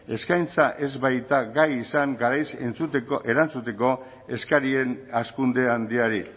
eskaintza ez baita gai izan garaiz erantzuteko eskarien hazkunde handiari